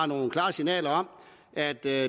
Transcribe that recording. nogle klare signaler om at der